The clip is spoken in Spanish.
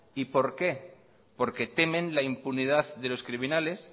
por qué porque temen la impunidad de los criminales